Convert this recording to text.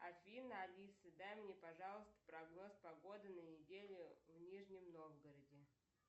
афина алиса дай мне пожалуйста прогноз погоды на неделю в нижнем новгороде